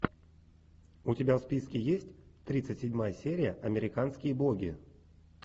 у тебя в списке есть тридцать седьмая серия американские боги